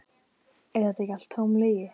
Er þetta ekki allt tóm lygi?